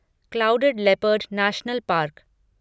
clouded leopard national park